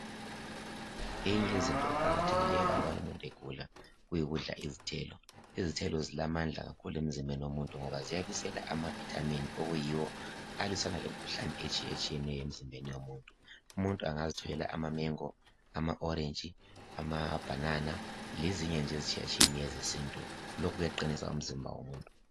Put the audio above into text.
Eyinye eyezinto eqakathekile alubana umuntu egula kuyi kudla izithelo, izithelo zilamandla kakhulu emzimbeni womuntu ngoba ziyabisela ama vitamin okuyiwo alwisana lemkhuhlane etshiyatshiyeneyo emzimbeni yomuntu. Umuntu angazitholela ama mengo, orentshi, amabhanana lezinye nje ezitshiyatshiyeneyo ezesintu lokhu kuyaqinisa womuntu.